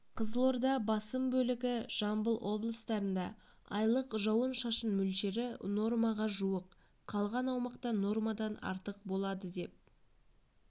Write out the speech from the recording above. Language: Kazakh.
қызылорда басым бөлігі жамбыл облыстарында айлық жауын-шашын мөлшері нормаға жуық қалған аумақта нормадан артық болады деп